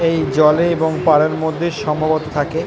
এই জলে এবং পারের মধ্যে সম্ভবতঃ থাকে।